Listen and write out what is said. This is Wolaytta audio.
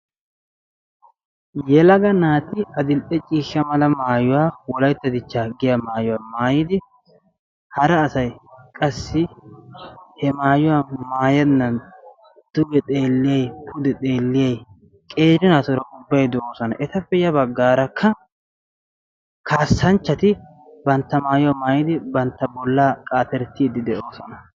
Yelaga naati adl'ee ciishsha wolaytta dichcha maayuwa ubbay yaane haane xewliddi de'osonna. Etta matan qassi kaassanchchatta banttanna qaattosonna.